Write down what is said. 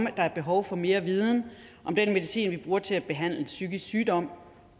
at der er behov for mere viden om den medicin vi bruger til at behandle psykisk sygdom